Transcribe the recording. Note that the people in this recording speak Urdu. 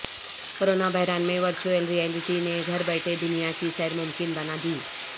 کرونا بحران میں ورچوئل ریئلٹی نے گھر بیٹھے دنیا کی سیر ممکن بنا دی